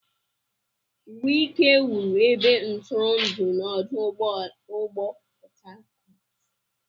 Wike wuru ebe ntụrụndụ na ọdụ ụgbọ Port Harcourt.